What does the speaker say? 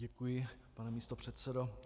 Děkuji, pane místopředsedo.